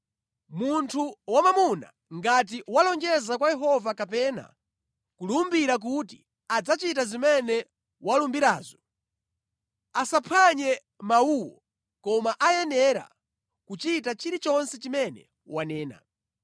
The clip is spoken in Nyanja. Munthu wamwamuna ngati walonjeza kwa Yehova kapena kulumbira kuti adzachita zimene walumbirazo, asaphwanye mawuwo koma ayenera kuchita chilichonse chimene wanena.